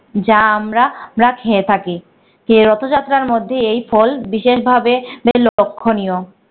যা আমরা রা খেয়ে থাকি। এই রথযাত্রার মধ্যে এই ফল বিশেষভাবে বে লক্ষণীয়।